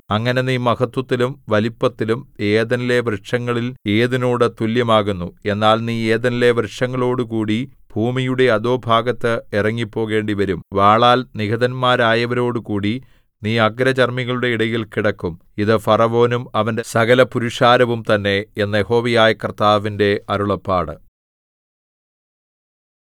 അങ്ങനെ നീ മഹത്ത്വത്തിലും വലിപ്പത്തിലും ഏദെനിലെ വൃക്ഷങ്ങളിൽ ഏതിനോട് തുല്യമാകുന്നു എന്നാൽ നീ ഏദെനിലെ വൃക്ഷങ്ങളോടുകൂടി ഭൂമിയുടെ അധോഭാഗത്ത് ഇറങ്ങിപ്പോകേണ്ടിവരും വാളാൽ നിഹതന്മാരായവരോടുകൂടി നീ അഗ്രചർമ്മികളുടെ ഇടയിൽ കിടക്കും ഇത് ഫറവോനും അവന്റെ സകലപുരുഷാരവും തന്നെ എന്ന് യഹോവയായ കർത്താവിന്റെ അരുളപ്പാട്